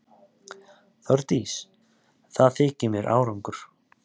Þórdís: Það þykir þér árangur?